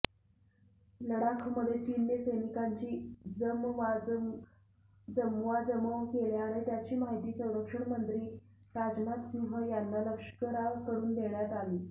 लडाखमध्ये चीनने सैनिकांची जमवाजमव केल्याने त्याची माहिती संरक्षणमंत्री राजनाथ सिंह यांना लष्कराकडून देण्यात आली